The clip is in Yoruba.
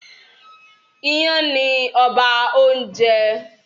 Ìyàn ni ọba oúnjẹ